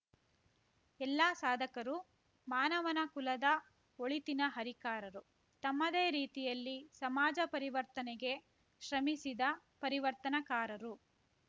ಎಲ್ಲಾ ಸಾಧಕರು ಮಾನವನ ಕುಲದ ಒಳಿತಿನ ಹರಿಕಾರರು ತಮ್ಮದೇ ರೀತಿಯಲ್ಲಿ ಸಮಾಜ ಪರಿವರ್ತನೆಗೆ ಶ್ರಮಿಸಿದ ಪರಿವರ್ತನಕಾರರು